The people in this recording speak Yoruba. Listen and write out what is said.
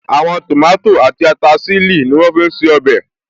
Àwọn tòmátò àti ata ṣílì ní wọ́n fí n ṣe ọbẹ̀